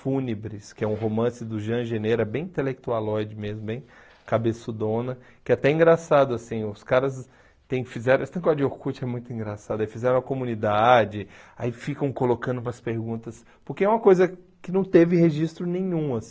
Fúnebres, que é um romance do Jean Geneira, bem intelectualóide mesmo, bem cabeçudona, que é até engraçado, assim, os caras tem fizeram, essa coisa de Orkut é muito engraçada, fizeram a comunidade, aí ficam colocando umas perguntas, porque é uma coisa que não teve registro nenhum, assim.